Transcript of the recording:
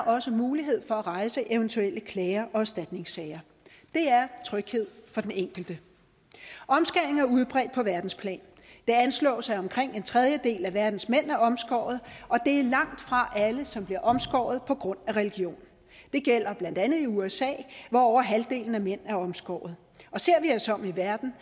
også mulighed for at rejse eventuelle klager og erstatningssager det er tryghed for den enkelte omskæring er udbredt på verdensplan det anslås at omkring en tredjedel af verdens mænd er omskåret og det er langtfra alle som bliver omskåret på grund af religion det gælder blandt andet i usa hvor over halvdelen af mænd er omskåret og ser vi os om i verden